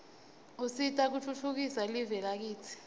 usita kutfutfukisa live lakitsi